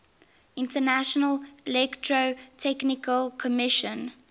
international electrotechnical commission